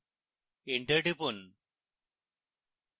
enter টিপুন